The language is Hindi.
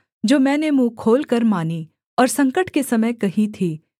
जो मैंने मुँह खोलकर मानीं और संकट के समय कही थीं